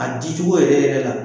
A di cogo yɛrɛ yɛrɛ la